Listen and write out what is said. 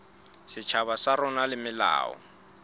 setjhaba sa rona le melao